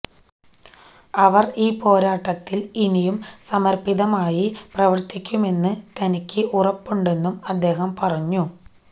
അവര് ഈ പോരാട്ടത്തില് ഇനിയും സമര്പ്പിതമായി പ്രവര്ത്തിക്കുമെന്ന് തനിക്ക് ഉറപ്പുണ്ടെന്നും അദ്ദേഹം പറഞ്ഞു